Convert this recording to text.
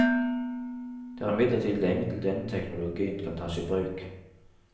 Det er imidlertid lenge til denne teknologien kan tas i bruk.